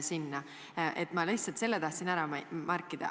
Ma tahtsin lihtsalt selle ära märkida.